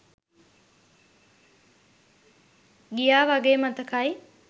ගියා වගේ මතකයි